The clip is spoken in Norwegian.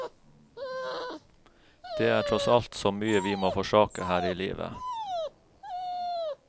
Det er tross alt så mye vi må forsaker her i livet.